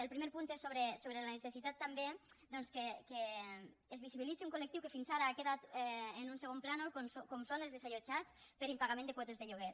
el primer punt és sobre la necessitat també doncs que es visibilitzi un col·lectiu que fins ara ha quedat en un segon plànol com són els desallotjats per impagament de quotes de lloguer